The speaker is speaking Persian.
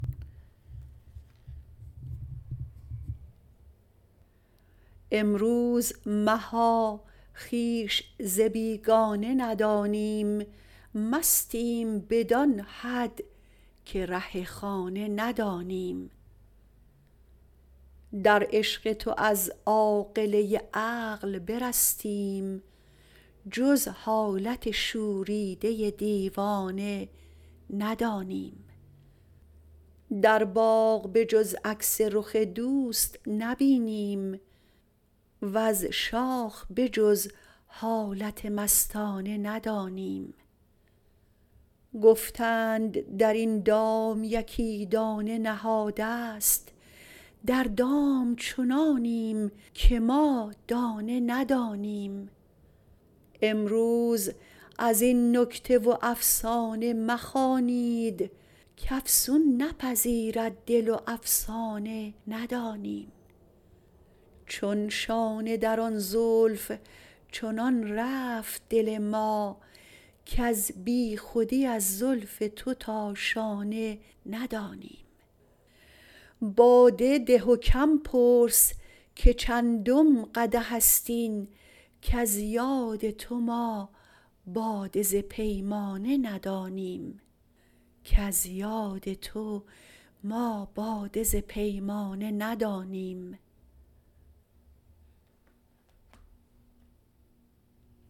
امروز مها خویش ز بیگانه ندانیم مستیم بدان حد که ره خانه ندانیم در عشق تو از عاقله عقل برستیم جز حالت شوریده دیوانه ندانیم در باغ به جز عکس رخ دوست نبینیم وز شاخ به جز حالت مستانه ندانیم گفتند در این دام یکی دانه نهاده ست در دام چنانیم که ما دانه ندانیم امروز از این نکته و افسانه مخوانید کافسون نپذیرد دل و افسانه ندانیم چون شانه در آن زلف چنان رفت دل ما کز بیخودی از زلف تو تا شانه ندانیم باده ده و کم پرس که چندم قدح است این کز یاد تو ما باده ز پیمانه ندانیم